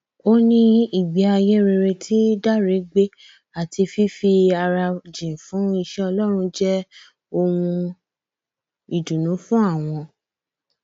ó ní ìgbé ayé rere tí dáre gbé àti fífi ara jìn fún iṣẹ ọlọrun jẹ ohun ìdùnnú fún àwọn